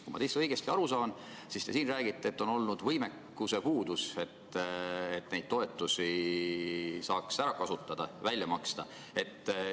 " Kui ma teist õigesti aru saan, siis siin saalis räägite te seda, et on olnud võimekuse puudus, et neid toetusi saaks ära kasutada, välja maksta.